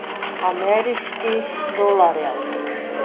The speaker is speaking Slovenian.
Ameriških dolarjev.